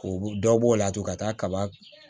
K'u dɔ b'o la tugun ka taa kaba